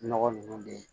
Nɔgɔ nunnu de